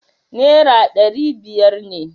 Nera dari biyar ne